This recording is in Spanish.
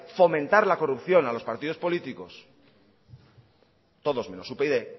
fomentar la corrupción a los partidos políticos todos menos upyd